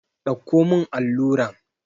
Ɗauko mun alluran!